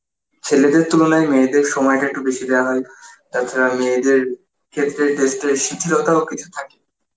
ছেলেদের তুলনায় মেয়েদের সময়টা একটু বেশি দেওয়া হয় তাছাড়া মেয়েদের ক্ষেত্রে test এর শিথিলতা ও কিছু থাকে